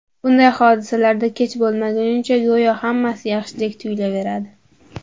Bunday hodisalarda kech bo‘lmagunicha go‘yoki hammasi yaxshidek tuyulaveradi.